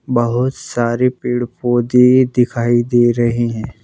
बहुत सारे पेड़-पौधे दिखाई दे रहे हैं।